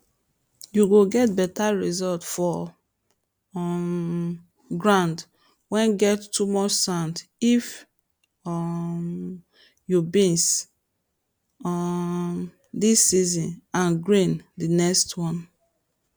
you go get better results for um ground whey get too much sand if um you beans um dis season and grains the next one